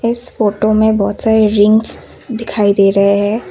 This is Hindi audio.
इस फोटो में बहुत सारी रिंग्स दिखाई दे रहे हैं ।